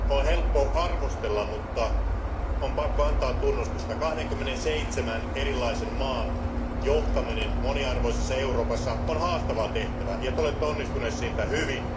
On helppo arvostella, mutta on pakko antaa tunnustusta. 27 erilaisen maan johtaminen moniarvoisessa Euroopassa on haastava tehtävä ja te olette onnistunut siinä hyvin.